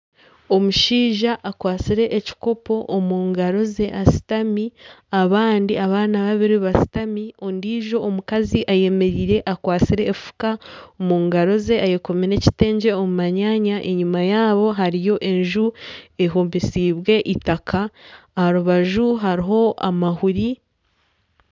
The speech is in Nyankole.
Omushaija akwatsire ekikopo omu ngaro ze ashutami abandi abaana babiri bashutami ondiijo omukazi ayemereire akwatsire efuka omu ngaro ze ayekomire ekitengye omu manyanya enyuma yaabo hariyo enju ehomesiibe eitaka aha rubaju hariho amahuri